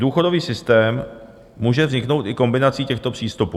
Důchodový systém může vzniknout i kombinací těchto přístupů.